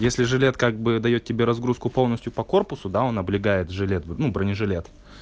если жилет как бы даёт тебе разгрузку полностью по корпусу да он облегает жилет ну бронежилет